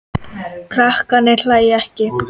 Krakkarnir hlæja ekki.